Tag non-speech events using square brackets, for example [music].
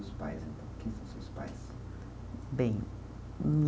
[unintelligible] Pais então, quem são seus pais. Bem [unintelligible]